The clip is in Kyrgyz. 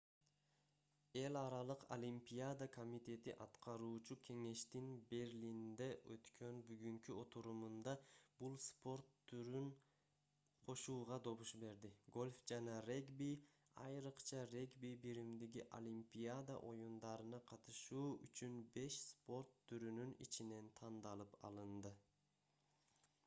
эл аралык олимпиада комитети аткаруучу кеңештин берлинде өткөн бүгүнкү отурумунда бул спорт түрүн кошууга добуш берди гольф жана регби айрыкча регби биримдиги олимпиада оюндарына катышуу үчүн беш спорт түрүнүн ичинен тандалып алынды